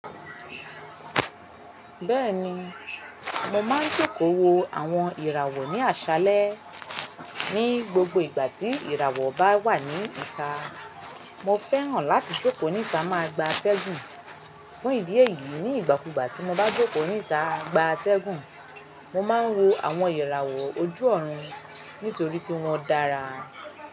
Bẹ́ẹ̀ni, mo máa ń joko wo àwọn ìràwọ̀ ní àṣálẹ́. Ní gbogbo ìgbà tí ìràwọ̀ bá wà ní ìta, mo fẹ́ràn láti jókòó ní ìta máa gba atẹ́gùn. Fún ìdí èyí, ní ìgbàkúgbà tí mo bá jókòó ní ìta gba atẹ́gùn, mo máa ń wo àwọn ìràwọ̀ ojú ọ̀run nítorí tí wọ́n dára.